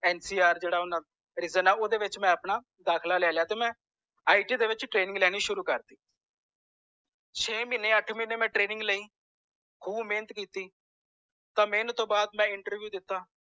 NCR ਜੇੜਾ ਓਹਨਾ ਦਾ region ਆ ਓਦੇ ਵਿਚ ਮੈ ਆਪਣਾ ਦਾਖਲਾ ਲੈ ਲਿਆ ਤਾਂ ਮੈਂ IT ਦੇ ਵਿਚ ਮੈਂ training ਲੈਣੀ ਸ਼ੁਰੂ ਕਰਤੀ ਛੇ ਮਹੀਨੇ ਅੱਠ ਮਹੀਨੇ ਮੈਂ training ਲਈ ਖੂਬ ਮੇਹਨਤ ਕੀਤੀ ਤਾਂ ਮੇਹਨਤ ਤੌਂ ਵਾਦ ਮੈਂ interview ਦਿਤਾ